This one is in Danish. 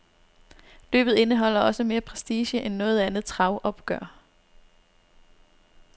Løbet indeholder også mere prestige end noget andet travopgør.